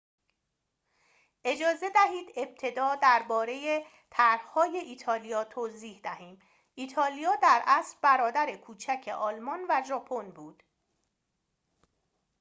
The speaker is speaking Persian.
اجازه دهید ابتدا درباره طرح‌های ایتالیا توضیح دهیم ایتالیا در اصل برادر کوچک آلمان و ژاپن بود